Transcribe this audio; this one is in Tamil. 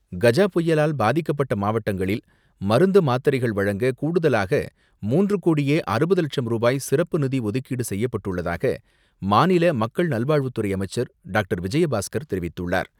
கஜா புயலால் பாதிக்கப்பட்ட மாவட்டங்களில் மருந்து, மாத்திரைகள் வழங்க கூடுதலாக மூன்று கோடியே அறுபது லட்சம் ரூபாய் சிறப்பு நிதி ஒதுக்கீடு செய்யப்பட்டுள்ளதாக மாநில மக்கள் நல்வாழ்வுத்துறை அமைச்சர் டாக்டர் விஜயபாஸ்கர் தெரிவித்துள்ளார்.